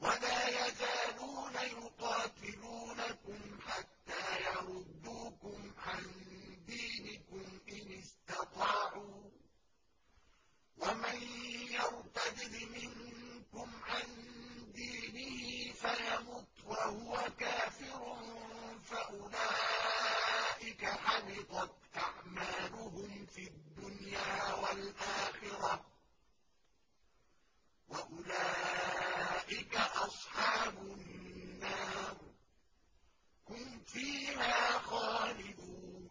وَلَا يَزَالُونَ يُقَاتِلُونَكُمْ حَتَّىٰ يَرُدُّوكُمْ عَن دِينِكُمْ إِنِ اسْتَطَاعُوا ۚ وَمَن يَرْتَدِدْ مِنكُمْ عَن دِينِهِ فَيَمُتْ وَهُوَ كَافِرٌ فَأُولَٰئِكَ حَبِطَتْ أَعْمَالُهُمْ فِي الدُّنْيَا وَالْآخِرَةِ ۖ وَأُولَٰئِكَ أَصْحَابُ النَّارِ ۖ هُمْ فِيهَا خَالِدُونَ